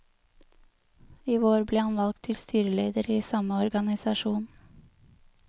I vår ble han valgt til styreleder i samme organisasjon.